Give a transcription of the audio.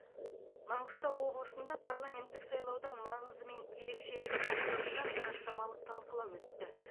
маңғыстау облысында парламенттік сайлаудың маңызы мен ерекшелігі тақырыбында сараптамалық талқылау өтті